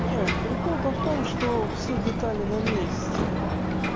не прикол-то в том что все детали на месте